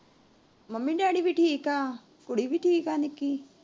Mummy daddy ਵੀ ਠੀਕ ਏ, ਕੁੜੀ ਵੀ ਠੀਕ ਏ ਨਿੱਕੀ।